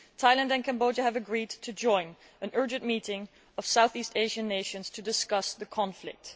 Thailand and Cambodia have agreed to join an urgent meeting of South East Asian nations to discuss the conflict.